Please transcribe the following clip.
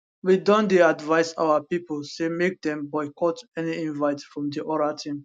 we don dey advise our pipo say make dem boycott any invite from di oral team